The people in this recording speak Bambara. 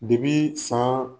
saan